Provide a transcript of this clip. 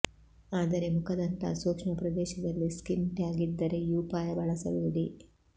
ಆದರೆ ಮುಖದಂತಹ ಸೂಕ್ಷ್ಮ ಪ್ರದೇಶದಲ್ಲಿ ಸ್ಕಿನ್ ಟ್ಯಾಗ್ ಇದ್ದರೆ ಈ ಉಪಾಯ ಬಳಸಬೇಡಿ